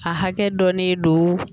A hakɛ dɔ de don